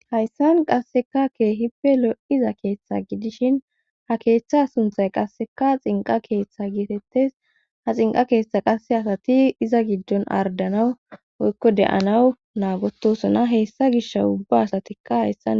hayssan qasseka ke hipe lo7iza keeththa gidishin ha keeththa sunthay qasseka xinqa keeththa gitettes ha xinqa keeththa qasse asati iza giddon ardanawu woykko de7anawu naagotosona hessa gish ubba asatikka hayssan